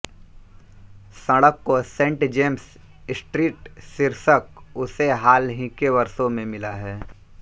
सड़क को Saint James Street शीर्षक उसे हाल ही के वर्षों में मिला है